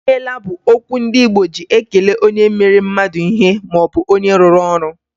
"I meela" bụ okwu ndị Igbo ji ekele onye mere mmadụ ihe maọbụ onye rụrụ ọrụ.